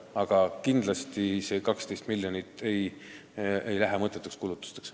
Aga kindlasti ei lähe see 12 miljonit mõttetuteks kulutusteks.